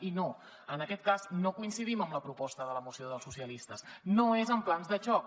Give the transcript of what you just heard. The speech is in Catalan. i no en aquest cas no coincidim amb la proposta de la moció dels socialistes no és amb plans de xoc